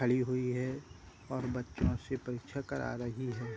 खड़ी हुई है और बच्चो से परीक्षा करा रही है।